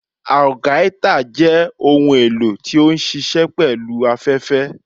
Algaita jẹ ohún elò ti o nṣiṣẹ pẹlu afẹfẹ.